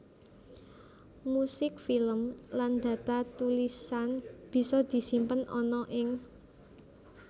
Musik film lan data tulisan bisa disimpen ana ing